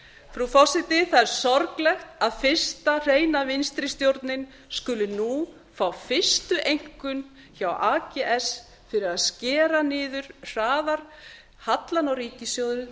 frú forseti það er sorglegt að fyrsta hreina vinstri stjórnin skuli nú fá fyrstu einkunn hjá ags fyrir að skera niður hraðar hallann á ríkissjóði